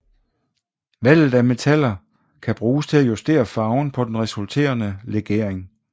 Valget af metaller kan bruges til at justere farven på den resulterende legering